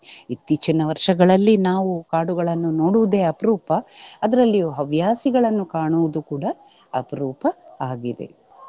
ಇತ್ತೀಚಿನ ವರ್ಷಗಳಲ್ಲಿ ನಾವು ಕಾಡುಗಳನ್ನು ನೋಡುವುದೇ ಅಪ್ರೂಪ ಅದ್ರಲ್ಲಿಯೂ ಹವ್ಯಾಸಿಗಳನ್ನು ಕಾಣುವುದು ಕೂಡ ಅಪ್ರೂಪ ಆಗಿದೆ.